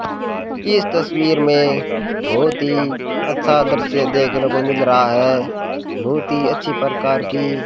इस तस्वीर में बहोत ही अच्छा दृश्य देखने को मिल रहा है बहुत ही अच्छी प्रकार की --